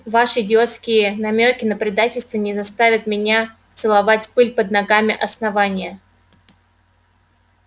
ваши идиотские намёки на предательство не заставят меня целовать пыль под ногами основания